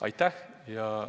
Aitäh!